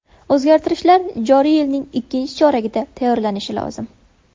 O‘zgartishlar joriy yilning ikkinchi choragida tayyorlanishi lozim.